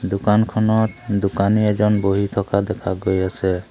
দোকানখনত দুকানী এজন বহি থকা দেখা গৈ আছে।